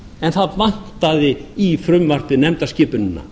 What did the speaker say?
en það vantaði í frumvarpið nefndarskipunina